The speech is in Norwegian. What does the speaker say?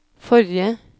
forrige